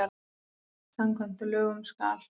Samkvæmt lögum skal